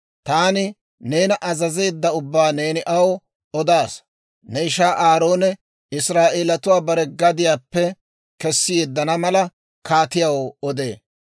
taani neena azazeedda ubbaa neeni aw odaasa; ne ishaa Aaroone Israa'eelatuwaa bare gadiyaappe kessi yeddana mala, kaatiyaw odee.